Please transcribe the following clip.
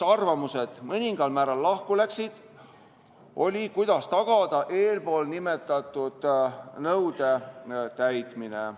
Arvamused läksid mõningal määral lahku selles, kuidas tagada eespool nimetatud nõude täitmine.